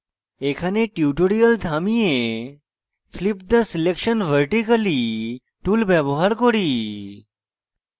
এখানে tutorial থামিয়ে flip the selection vertically tool ব্যবহার করি